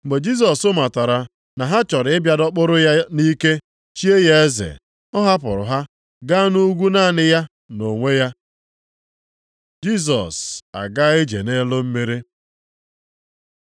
Mgbe Jisọs matara na ha chọrọ ịbịa dọkpụrụ ya nʼike chie ya eze, ọ hapụrụ ha ga nʼugwu naanị ya, nʼonwe ya. Jisọs agaa ije nʼelu mmiri